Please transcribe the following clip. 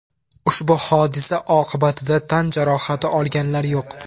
Ushbu hodisa oqibatida tan jarohati olganlar yo‘q.